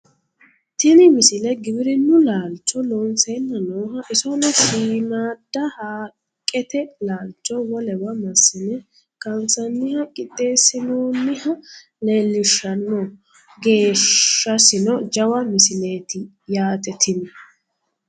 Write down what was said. tini misile giwirinnu laalcho loonseenna nooha isono shiimmaadda haaqqete laalcho wolewa massine kaansanniha qixxeessinoonniha leellishshanno geeshshasino jawa misleeti yaate tini